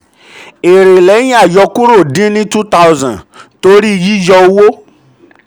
èrè lẹ́yìn àyọkúrò dín ni two thousand torí ni two thousand torí yíyọ owó.